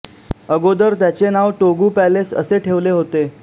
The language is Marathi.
अगोदर त्याचे नाव टोगु पॅलेस असे ठेवले होते